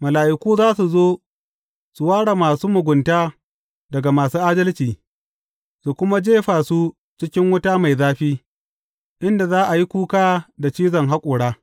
Mala’iku za su zo su ware masu mugunta daga masu adalci su kuma jefa su cikin wuta mai zafi, inda za a yi kuka da cizon haƙora.